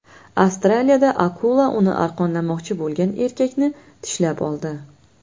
Avstraliyada akula uni arqonlamoqchi bo‘lgan erkakni tishlab oldi.